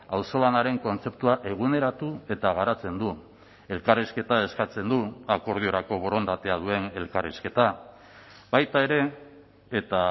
auzolanaren kontzeptua eguneratu eta garatzen du elkarrizketa eskatzen du akordiorako borondatea duen elkarrizketa baita ere eta